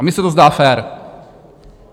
A mně se to zdá fér.